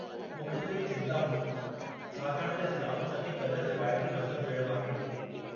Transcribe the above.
मूंखे थोरी चिंता हुई, छाकाणि त इस्लामु चङे क़दुरु रिवायती मज़हब जहिड़ो आहे।